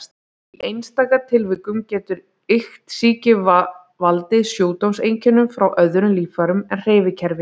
Í einstaka tilvikum getur iktsýki valdið sjúkdómseinkennum frá öðrum líffærum en hreyfikerfi.